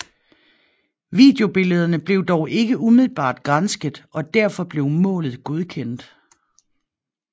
Videobillederne blev dog ikke umiddelbart gransket og derfor blev målet godkendt